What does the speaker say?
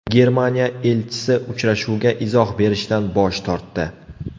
Germaniya elchisi uchrashuvga izoh berishdan bosh tortdi.